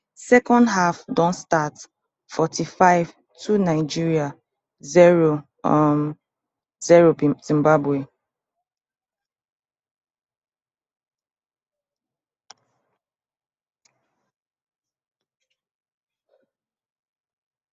second half don start forty-five two nigeria zero um zero zimbabwe